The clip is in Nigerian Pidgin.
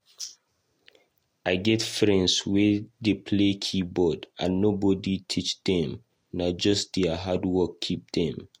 I get friends wey dey play keyboard and nobody teach dem, nah just dier hardwork keep dem